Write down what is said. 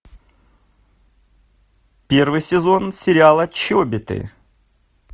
первый сезон сериала чобиты